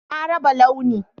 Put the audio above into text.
Na raba Launi